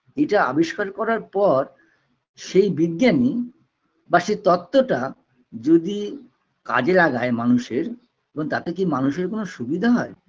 যেটা আবিষ্কার করার পর সেই বিজ্ঞানী বা সেই তত্বটা যদি কাজে লাগায় মানুষের এবং তাতে কি মানুষের কোনো সুবিধা হয়